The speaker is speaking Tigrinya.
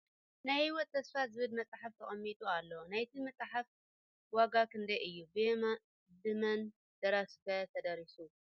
ናይ ሂወት ተስፋ ዝብል መፅሓፍ ተቀሚጡ ኣሎ ። ናይቲ ምጽሓፍ ዋጋ ክንደይ እዩ ብ ምን ደራሲ ከ እዩ ተደሪሱ ?